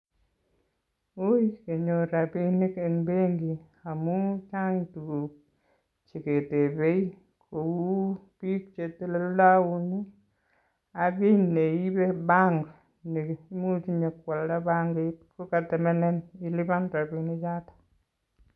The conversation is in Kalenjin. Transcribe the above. Uuui kenyor rapinik eng benki amun chang tuguuk cheketepe kou biik che teleldoun ak kei neipe banki neitinye sipkwalda benkit ngotemenen ilipan rapinik choto.